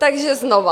Takže znova.